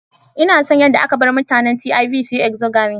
Ina son yadda aka bar mutanen Tiv su yi exogamy.